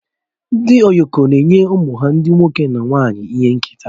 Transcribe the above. Ndị Yoko na-enye ụmụ ha ndị nwoke na nwanyị ihe nketa